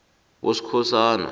boskhosana